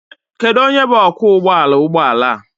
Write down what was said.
Kedu onye bụ ọkwọụgbọala ụgbọala?